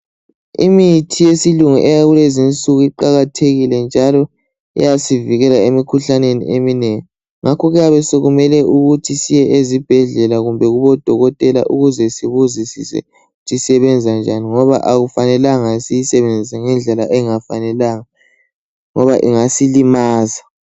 Imithi yesilungu yakulezinsuku iqakathekile njalo iyasivikela emikhuhlaneni eminengi. Ngakho kuyabe sokumele ukuthi siye ezibhedlela kumbe kubodokotela ukuze sikuzwisise ukuthi isebenza njani ngoba akufanela siyisebenzise ngendlela engafanelanga ngoba ingasilimaza.